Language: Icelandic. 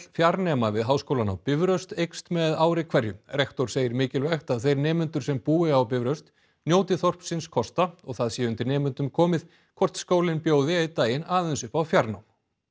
fjarnema við Háskólann á Bifröst eykst með ári hverju rektor segir mikilvægt að þeir nemendur sem búi á Bifröst njóti þorpsins kosta og það sé undir nemendum komið hvort skólinn bjóði einn daginn aðeins upp á fjarnám